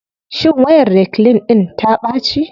Shin wayar reclean ɗIn ta ɓaci.